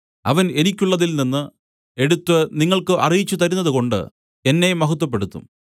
അവൻ എനിക്കുള്ളതിൽനിന്ന് എടുത്തു നിങ്ങൾക്ക് അറിയിച്ചുതരുന്നതുകൊണ്ട് എന്നെ മഹത്വപ്പെടുത്തും